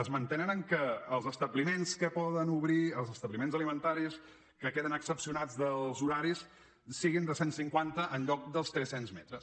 es mantenen en el fet que els establiments que poden obrir els establiments alimentaris que queden excepcionats dels horaris siguin de cent cinquanta en lloc dels trescents metres